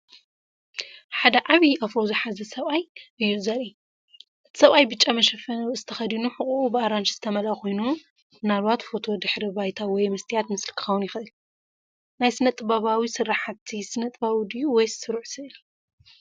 ሓደ ዓቢ ኣፍሮ ዝሓዘ ሰብኣይ እዩ ዘርኢ። እቲ ሰብኣይ ብጫ መሸፈኒ ርእሲ ተኸዲኑ ሕቖኡ ብኣራንሺ ዝተመልአ ኮይኑ፡ ምናልባት ፎቶ ድሕረ ባይታ ወይ መስትያት ምስሊ ክኸውን ይኽእል። ናይ ስነ-ጥበባዊ ስርሓት ስነ-ጥበባዊ ድዩ ወይስ ስሩዕ ስእሊ?